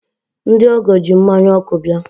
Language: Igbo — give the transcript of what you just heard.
ndị ọgọ ji mmanya ọkụ bịa.